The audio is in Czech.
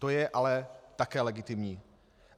To je ale také legitimní.